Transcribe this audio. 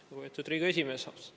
Austatud Riigikogu esimees!